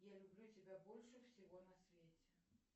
я люблю тебя больше всего на свете